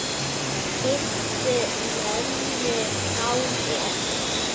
Kysstu mömmu frá mér.